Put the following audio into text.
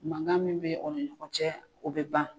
Mangan min be aw ni ɲɔgɔn cɛ o be ban